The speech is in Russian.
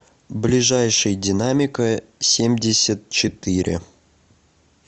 ближайший динамика семьдесят четыре